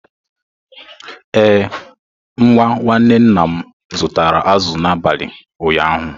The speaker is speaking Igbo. Ee, nwa nwanne nna m zụtara azụ̀ n’abalị ụnyaahụ.